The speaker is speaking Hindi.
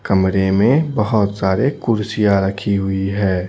कमरे में बहोत सारे कुर्सियां रखी हुई है।